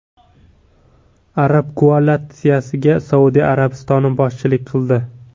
Arab koalitsiyasiga Saudiya Arabistoni boshchilik qildi.